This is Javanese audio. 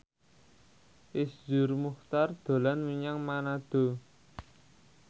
Iszur Muchtar dolan menyang Manado